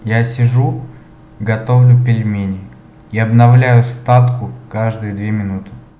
я сижу готовлю пельмени и обновляю статку каждые две минуты